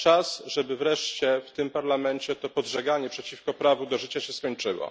Czas, żeby wreszcie w tym Parlamencie to podżeganie przeciwko prawu do życia się skończyło.